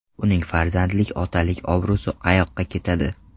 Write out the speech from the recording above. Uning farzandlik, otalik obro‘si qayoqqa ketadi?